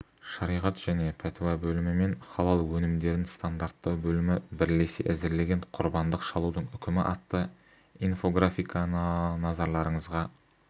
шариғат және пәтуа бөлімі мен халал өнімдерін стандарттау бөлімі бірлесе әзірлеген құрбандық шалудың үкімі атты инфографиканыназарларыңызға